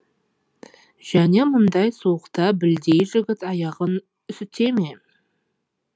және мындай суықта білдей жігіт аяғын үсіте ме